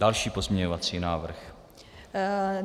Další pozměňovací návrh.